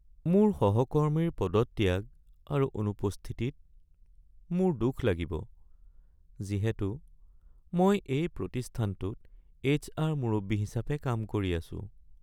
মোৰ সহকৰ্মীৰ পদত্যাগ আৰু অনুপস্থিতিত মোৰ দুখ লাগিব যিহেতু মই এই প্ৰতিষ্ঠানটোত এইচআৰ মুৰব্বী হিচাপে কাম কৰি আছো।